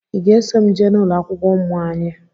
I ga-eso m jee n'ụlọakwụkwọ ụmụ anyị?